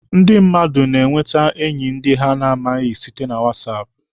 Ndị mmadụ na-enwete enyi ndị ha na-amaghị site na whatsApp.